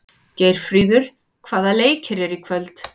Geirfríður, hvaða leikir eru í kvöld?